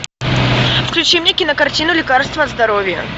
включи мне кинокартину лекарство от здоровья